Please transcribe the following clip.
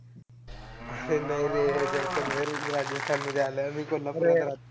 अरे नाही रे जैसलमेर राजस्थानमध्ये आलं. मी कोल्हापूरला राहतो.